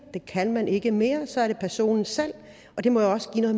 det kan man ikke mere så er det personen selv og det må jo også give noget